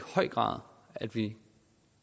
høj grad at vi